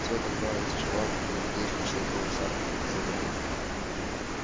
все это отправилось в чулан под лестницей и было заперто на замок